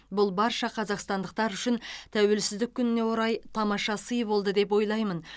бұл барша қазақстандықтар үшін тәуелсіздік күніне орай тамаша сый болды деп ойлаймын